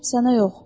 Sənə yox.